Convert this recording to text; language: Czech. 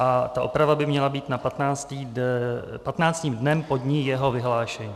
A ta oprava by měla být na "patnáctým dnem po dni jeho vyhlášení".